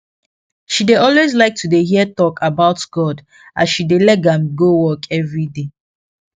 she dey always like to dey hear talk about god as she dey leg am go work everyday